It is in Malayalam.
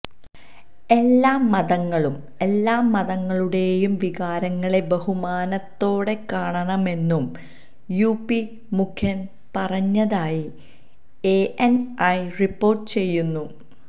എല്ലാ മതങ്ങളും എല്ലാമതങ്ങളുടെയും വികാരങ്ങളെ ബഹുമാനത്തോടെ കാണണമെന്നും യുപി മുഖ്യന് പറഞ്ഞതായി എഎന്ഐ റിപ്പോര്ട്ട് ചെയ്യുന്നു